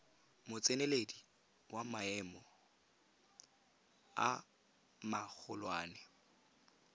motseneledi wa maemo a magolwane